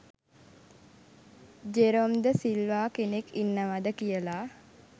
Jerome de Silva කෙනෙක් ඉන්නවාද කියල.